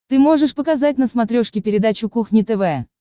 ты можешь показать на смотрешке передачу кухня тв